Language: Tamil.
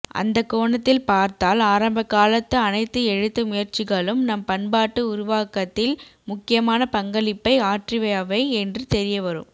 அந்தக் கோணத்தில் பார்த்தால் ஆரம்பகாலத்து அனைத்து எழுத்து முயற்சிகளும் நம் பண்பாட்டு உருவாக்கத்தில் முக்கியமான பங்களிப்பை ஆற்றியவை என்று தெரியவரும்